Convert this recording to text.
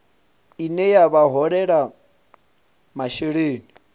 ine ya vha holela masheleni